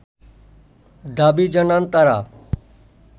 দাবি জানান তারা